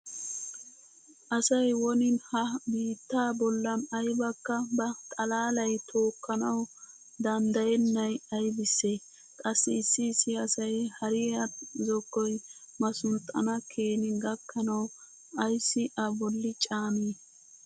Asay woni ha biittaa bollan aybakka ba xalaalay tookkanawu danddayennay aybisse? Qassi issi issi asay hariya zokkoy masunxxana keeni gakkanawu ayssi a bolli caani?